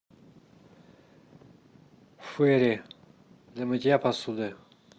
фэри для мытья посуды